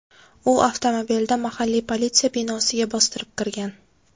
U avtomobilda mahalliy politsiya binosiga bostirib kirgan.